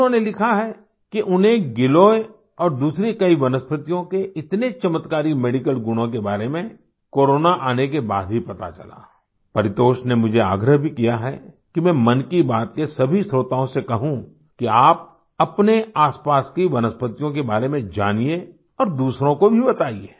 उन्होंने लिखा है कि उन्हें गिलोय और दूसरी कई वनस्पतियों के इतने चमत्कारी मेडिकल गुणों के बारे में कोरोना आने के बाद ही पता चला परितोष ने मुझे आग्रह भी किया है कि मैं मन की बात के सभी श्रोताओं से कहूँ कि आप अपने आसपास की वनस्पतियों के बारे में जानिए और दूसरों को भी बताइये